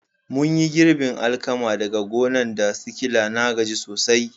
Mun yi girbin alkaman daga gonan' da sikila, na gaji sosai.